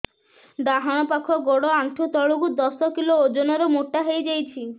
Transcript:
ଡାହାଣ ପାଖ ଗୋଡ଼ ଆଣ୍ଠୁ ତଳକୁ ଦଶ କିଲ ଓଜନ ର ମୋଟା ହେଇଯାଇଛି